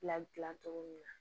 Bila dilan cogo min na